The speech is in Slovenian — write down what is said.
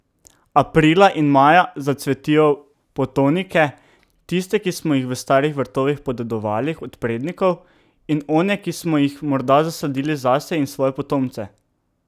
Aprila in maja zacvetijo potonike, tiste, ki smo jih v starih vrtovih podedovali od prednikov, in one, ki smo jih morda zasadili zase in svoje potomce.